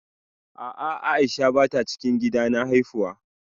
A'a Aisha bata cikin gidan na haifuwa